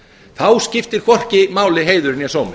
þá skiptir hvorki máli heiður né sómi